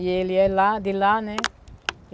E ele é lá de lá, né?